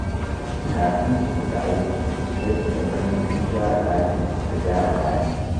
Kafin su fita aiki, sai su tabbatar sun share ɗakin da gyara kayan su.